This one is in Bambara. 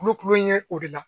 kulo kulo in ye o de la